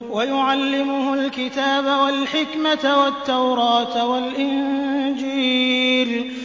وَيُعَلِّمُهُ الْكِتَابَ وَالْحِكْمَةَ وَالتَّوْرَاةَ وَالْإِنجِيلَ